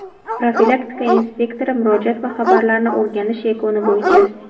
Profilaktika inspektori murojaat va xabarlarni o‘rganish yakuni bo‘yicha:.